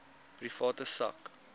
private sak